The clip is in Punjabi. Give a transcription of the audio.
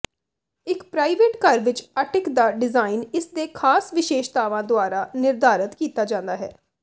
ਇੱਕ ਪ੍ਰਾਈਵੇਟ ਘਰ ਵਿੱਚ ਅਟਿਕ ਦਾ ਡਿਜ਼ਾਇਨ ਇਸਦੇ ਖਾਸ ਵਿਸ਼ੇਸ਼ਤਾਵਾਂ ਦੁਆਰਾ ਨਿਰਧਾਰਤ ਕੀਤਾ ਜਾਂਦਾ ਹੈ